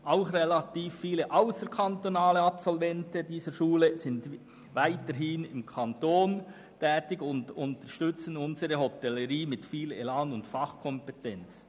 Auch relativ viele ausserkantonale Absolventen dieser Schule sind im Kanton Bern tätig und unterstützen unsere Hotellerie mit viel Elan und Fachkompetenz.